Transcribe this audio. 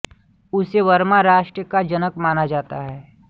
उसे बर्मा राष्ट्र का जनक माना जाता है